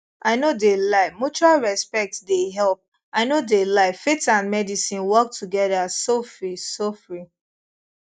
i no de lie mutual respect de help i no de lie faith and medicine work together sofri sofri